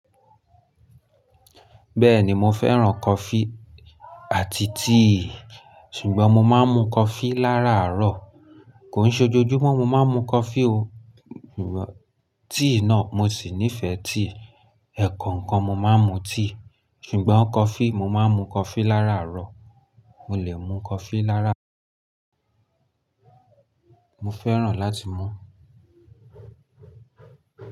Bẹ́ẹ̀ni mo fẹ́ràn coffee àti tea, ṣùgbọ́n mo máa ń mu coffee lá raárọ̀. Kò ní e ojojúmọ́ mo máa ń mu coffee o, ṣùgbọ́n tea náà mo sì nífẹ̀ẹ́ tea. Ẹ̀ẹ̀kọ̀kan mo máa ń mu tea, ṣùgbọ́n coffee mo máa ń mu coffee là ráarọ̀. Mo lè mu coffee lára Mo fẹ́ràn láti mu.